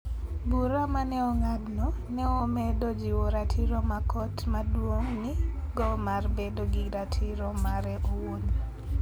Bura ma ne ong'adno, ne omedo jiwo ratiro ma Kot Maduong' nigo mar bedo gi ratiro mare owuon.